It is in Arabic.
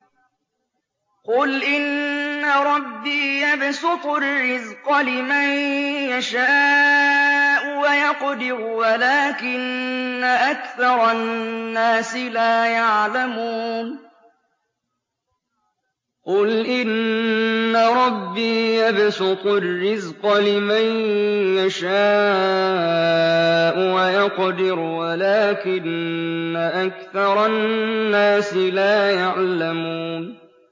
قُلْ إِنَّ رَبِّي يَبْسُطُ الرِّزْقَ لِمَن يَشَاءُ وَيَقْدِرُ وَلَٰكِنَّ أَكْثَرَ النَّاسِ لَا يَعْلَمُونَ